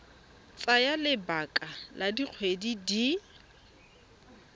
tsaya lebaka la dikgwedi di